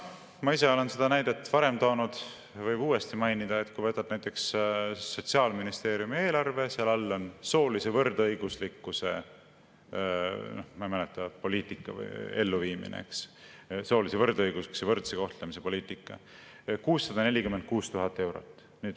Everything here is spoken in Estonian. Ma ise olen seda näidet varem toonud, võib uuesti mainida, et kui võtad näiteks Sotsiaalministeeriumi eelarve, siis seal all on soolise võrdõiguslikkuse – ma ei mäleta – poliitika või elluviimine, soolise võrdõiguslikkuse ja võrdse kohtlemise poliitika, 646 000 eurot.